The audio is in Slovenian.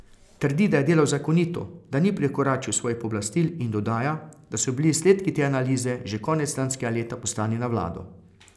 Trdi, da je delal zakonito, da ni prekoračil svojih pooblastil in dodaja, da so bili izsledki te analize že konec lanskega leta poslani na vlado.